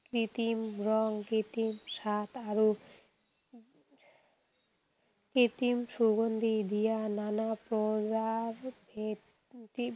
কৃত্ৰিম ৰং, কৃত্ৰিম স্বাদ আৰু কৃত্ৰিম সুগন্ধি দিয়া নানা preservative